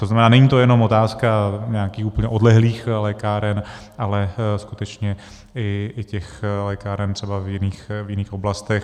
To znamená, není to jenom otázka nějakých úplně odlehlých lékáren, ale skutečně i těch lékáren třeba v jiných oblastech.